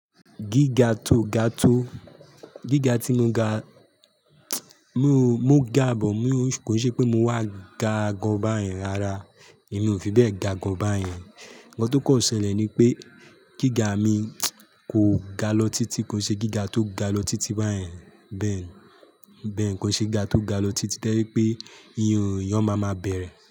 Gíga tó ga tó, gíga tí mo ga, mo gà but kò ṣe pé mo wà ga gan báyẹn rárá èmi ò fi bẹ́ẹ̀ ga gan bá yen. Nnkan tó kàn ṣẹlẹ̀ ni pé gíga mi kò ga lọ títí kò ṣe gíga tó ga lọ títí bá yẹn. Bẹ́ẹ̀ni, bẹ́ẹ̀ni kò ṣe gigá tó ga lọ títí toje pé iyan o ma máa bẹ̀rẹ̀